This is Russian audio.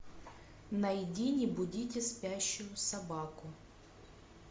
найди не будите спящую собаку